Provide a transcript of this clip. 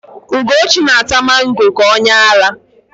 Ugochi na-ata mango ka onyeara.